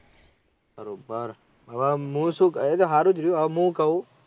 બરોબર હમ હું શું એ તો હારું ગયું આવે હમ શું કહું